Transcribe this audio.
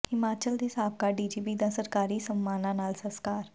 ਹਿਮਾਚਲ ਦੇ ਸਾਬਕਾ ਡੀਜੀਪੀ ਦਾ ਸਰਕਾਰੀ ਸਨਮਾਨਾਂ ਨਾਲ ਸਸਕਾਰ